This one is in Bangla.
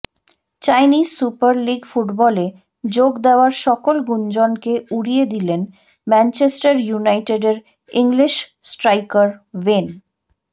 চাইনিজ সুপার লিগ ফুটবলে যোগ দেয়ার সকল গুঞ্জনকে উড়িয়ে দিলেন ম্যানচেস্টার ইউনাইটেডের ইংলিশ স্ট্রাইকার ওয়েন